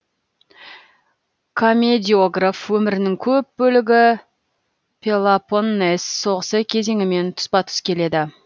комедиограф өмірінің көп бөлігі пелопоннес соғысы кезеңімен тұспа тұс келеді